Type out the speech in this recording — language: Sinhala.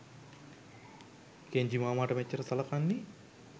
කෙන්ජි මාමට මෙච්චර සලකන්නේ.